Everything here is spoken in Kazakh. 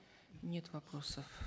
нет вопросов